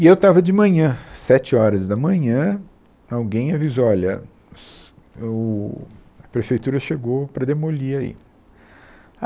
E eu estava de manhã, sete horas da manhã, alguém avisou, olha, os, o a prefeitura chegou para demolir aí.